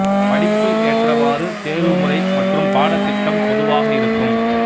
படிப்பு ஏற்றவாறு தேர்வு முறை மற்றும் பாடத்திட்டம் பொதுவாக இருக்கும்